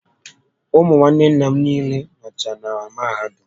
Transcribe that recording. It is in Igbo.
Ụmụ nwanne nna m niile nọcha na mahadum